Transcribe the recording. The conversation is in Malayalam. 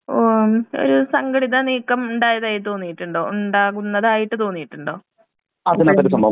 ഏ ഒരു സംഘടിത നീക്കം ഉണ്ടായതായി തോന്നിട്ടുണ്ടോ? ഉണ്ടാകുന്നതായിട്ട് തോന്നിട്ടുണ്ടോ? *നോട്ട്‌ ക്ലിയർ*